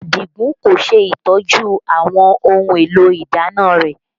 Adigun kò ṣe ìtọ́jú àwọn ohun èlò ìdáná rẹ